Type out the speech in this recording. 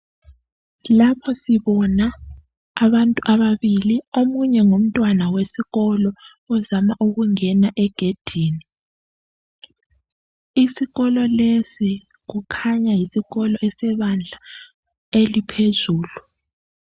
Lapha sibona abantu ababili omunye ngumntwana wesikolo ozama ukungena egedini isikolo lesi kukhanya yisikolo esebandla eliphezulu